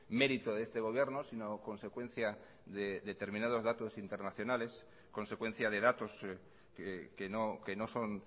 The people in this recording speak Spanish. mérito de este gobierno sino consecuencia de determinados datos internacionales consecuencia de datos que no son